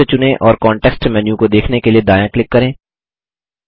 text चुनें और context menu को देखने के लिए दायाँ क्लिक करें